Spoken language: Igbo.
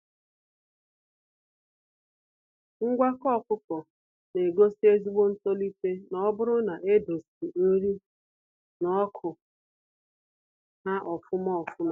Ngwakọ ọkụkọ na egosi ezigbo ntolite n'oburu na e doziri nri na ọkụ ha ofụma ofụma.